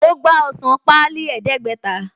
Mo gba ọsàn páálí ẹdẹ̀ẹ́gbẹ̀ta